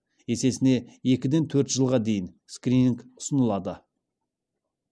есесіне екіден төрт жылға дейін скрининг ұсынылады